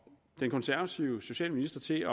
den konservative socialminister til at